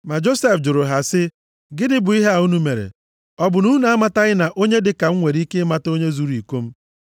Ma Josef jụrụ ha sị, “Gịnị bụ ihe a unu mere? Ọ bụ na unu amataghị na onye dịka m nwere ike ịmata onye zuru iko m?”